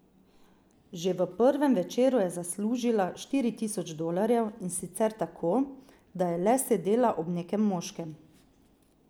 Že v prvem večeru je zaslužila štiri tisoč dolarjev, in sicer tako, da je le sedela ob nekem moškem.